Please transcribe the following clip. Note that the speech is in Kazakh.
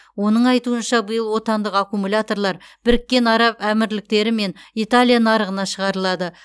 оның айтуынша биыл отандық аккумуляторлар біріккен араб әмірліктері мен италия нарығына шығарылады